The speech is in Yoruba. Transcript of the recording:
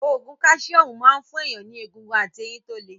Ògùn káṣíọ́mù máa ń fún èèyàn ní egungun àti eyin tó le